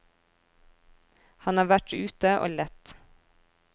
Han har vært ute og lett.